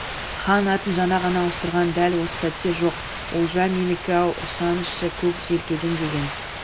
хан атын жаңа ғана ауыстырған дәл осы сәтте жоқ олжа менікі ау ұрсаңызшы көк желкеден деген